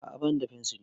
A'a bani da fensiri